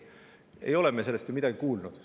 Ei ole me sellest ju midagi kuulnud.